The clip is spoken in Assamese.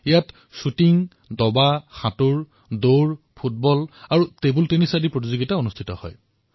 এই প্ৰতিযোগিতাত শ্বুটিং দবা সাঁতোৰ দৌৰ ফুটবল আৰু টেবুল টেনিচৰ দৰে প্ৰতিযোগিতাৰ আয়োজন কৰা হয়